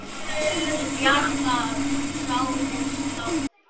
Til bjargar sál hins látna.